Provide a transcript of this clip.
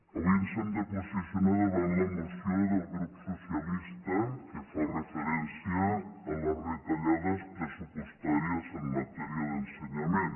avui ens hem de posicionar davant la moció del grup socialista que fa referència a les retallades pressupostàries en matèria d’ensenyament